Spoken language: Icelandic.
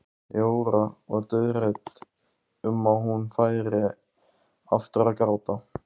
Jóra var dauðhrædd um að hún færi aftur að gráta.